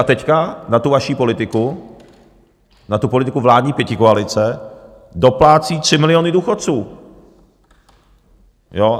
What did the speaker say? A teď na tu vaši politiku, na tu politiku vládní pětikoalice, doplácí 3 miliony důchodců.